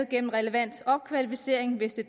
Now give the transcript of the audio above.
gennem relevant opkvalificering hvis det